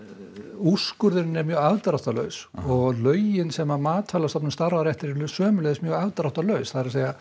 úrskurðurinn er mjög afdráttarlaus og lögin sem MAST starfar eftir sömuleiðis mjög afdráttarlaus það er